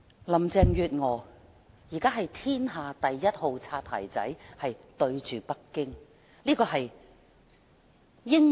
林鄭月娥現在是天下第一號"擦鞋仔"——對北京。